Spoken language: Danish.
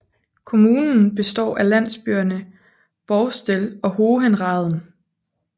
Kommunen består af landsbyerne Borstel og Hohenraden